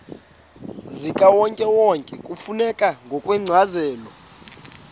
zikawonkewonke kufuneka ngokwencazelo